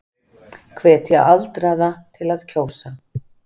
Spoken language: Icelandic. Hvetja aldraða til að kjósa